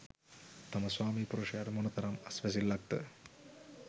තම ස්වාමි පුරුෂයාට මොනතරම් අස්වැසිල්ලක් ද?